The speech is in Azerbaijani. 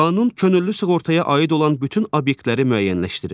Qanun könüllü sığortaya aid olan bütün obyektləri müəyyənləşdirir.